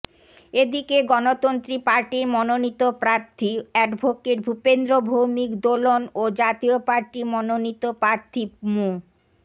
এদিকে গণতন্ত্রী পার্টির মনোনীত প্রার্থী অ্যাডভোকেট ভূপেন্দ্র ভৌমিক দোলন ও জাতীয় পার্টি মনোনীত প্রার্থী মো